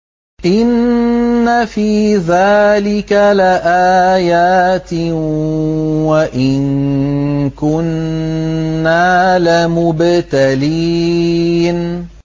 إِنَّ فِي ذَٰلِكَ لَآيَاتٍ وَإِن كُنَّا لَمُبْتَلِينَ